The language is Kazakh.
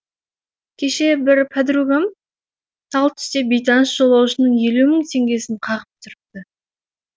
кеше бір пәдругам тал түсте бейтаныс жолаушының елу мың теңгесін қағып түсіріпті